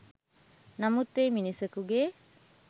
නමුත් එය මිනිසකුගේ